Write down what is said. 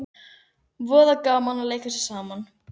Eldri munkurinn svaraði skætingi og var að vörmu spori horfinn.